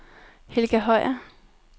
Helga Høyer